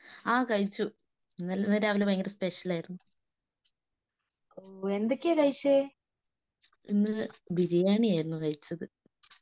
ആ കഴിച്ചു. ഇന്ന് രാവിലെ ഭയങ്കര സ്പെഷ്യൽ ആയിരുന്നു. ഇന്ന് ബിരിയാണിയായിരുന്നു കഴിച്ചത്.